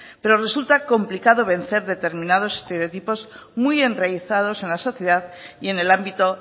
pero resulta complicado vencer determinados estereotipos muy enraizados en la sociedad y en el ámbito